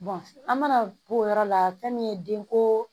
an mana to o yɔrɔ la fɛn min ye den ko